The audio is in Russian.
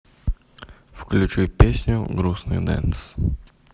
включи песню грустный дэнс